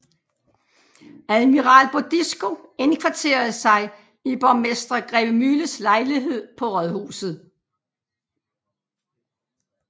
Admiral Bodisco indkvarterede sig i borgmester Grevemühles lejlighed på rådhuset